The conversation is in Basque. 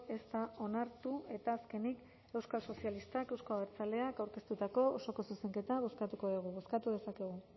ez da onartu eta azkenik euskal sozialistak euzko abertzaleak aurkeztutako osoko zuzenketa bozkatuko dugu bozkatu dezakegu